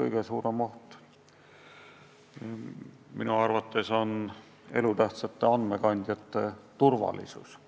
kõige suurem oht minu arvates on elutähtsate andmekandjate turvalisus.